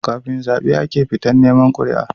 Kafin zabe ake fita neman quri'a